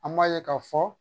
An m'a ye k'a fɔ